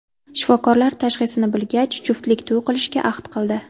Shifokorlar tashxisini bilgach, juftlik to‘y qilishga ahd qildi.